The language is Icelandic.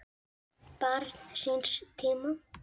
Barn síns tíma?